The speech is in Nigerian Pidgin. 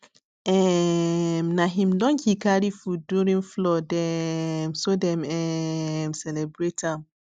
um na him donkey carry food during flood um so dem um celebrate am